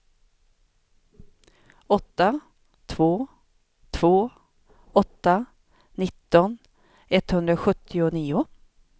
åtta två två åtta nitton etthundrasjuttionio